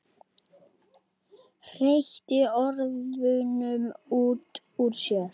Hreytti orðunum út úr sér.